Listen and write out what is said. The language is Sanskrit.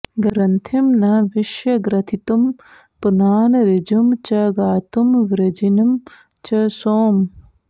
ग्रन्थिं न वि ष्य ग्रथितं पुनान ऋजुं च गातुं वृजिनं च सोम